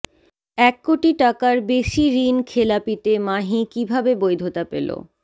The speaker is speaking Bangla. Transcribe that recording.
এক কোটি টাকার বেশি ঋণখেলাপিতে মাহি কীভাবে বৈধতা পেল